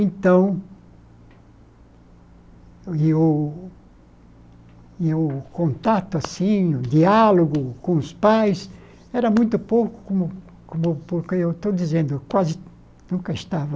Então... E o... E o contato assim, o diálogo com os pais, era muito pouco como como... Porque eu estou dizendo, quase nunca estava